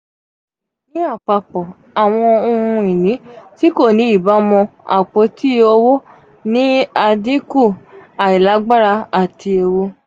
nipa apapọ awọn ohun-ini ti ko ni ibamu apoti owo ni adinku ailagbara ati eewu.